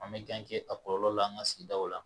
An bɛ a kɔlɔlɔ la an ka sigidaw la